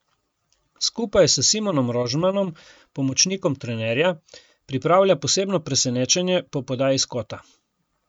Skupaj s Simonom Rožmanom, pomočnikom trenerja, pripravlja posebno presenečenje po podaji s kota.